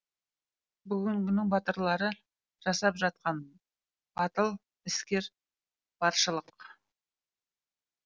бүгінгінің батырлары жасап жатқан батыл істер баршылық